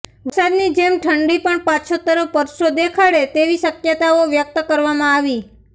વરસાદની જેમ ઠંડી પણ પાછોતરો પરચો દેખાડે તેવી શક્યતાઓ વ્યક્ત કરવામાં આવી